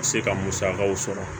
Se ka musakaw sɔrɔ